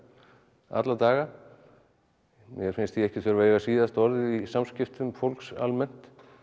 alla daga mér finnst ég ekki þurfa að eiga síðasta orðið í samskiptum fólks almennt